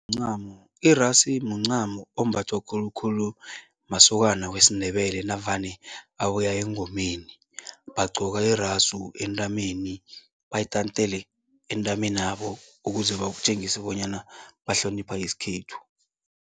Mncamo, irasu muncamo ombathwa khulukhulu masokana wesiNdebele navane abuya engomeni. Bagqoka irasu entameni, bayitantele entameni yabo ukuze batjengise bonyana bahlonipha isikhethu.